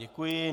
Děkuji.